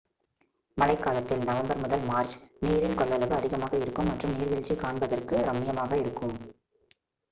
மழைக்காலத்தில் நவம்பர் முதல் மார்ச் நீரின் கொள்ளளவு அதிகமாக இருக்கும் மற்றும் நீர்வீழ்ச்சி காண்பதற்கு ரம்மியமாக இருக்கும்